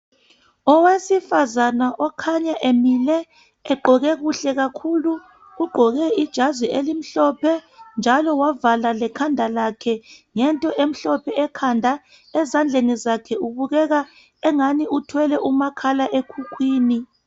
Owesifazana okhanya emile egqoke kuhle kakhulu, ugqoke ijazi elimhlophe njalo wavala lekhanda lakhe ngento emhlophe ekhanda . Ezandleni zakhe kubukeka angani uthwele umakhalekhukhwini.